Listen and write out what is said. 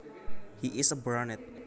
He is a brunet